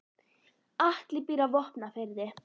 Atli býr á Vopnafirði.